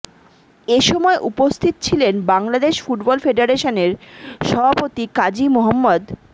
এ সময় উপস্থিত ছিলেন বাংলাদেশ ফুটবল ফেডারেশনের সভাপতি কাজী মো